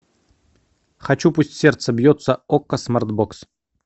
хочу пусть сердце бьется окко смарт бокс